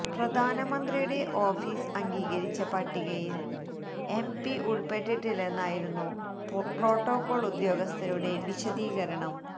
പ്രധാനമന്ത്രിയുടെ ഓഫിസ് അംഗീകരിച്ച പട്ടികയിൽ എംപി ഉൾപ്പെട്ടിട്ടില്ലെന്നായിരുന്നു പ്രോട്ടോക്കോൾ ഉദ്യോഗസ്ഥരുടെ വിശദീകരണം